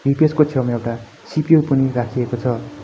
UPS_ को छेउमा एउटा सि_पी_यु पनि राखिएको छ।